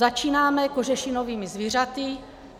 Začínáme kožešinovými zvířaty.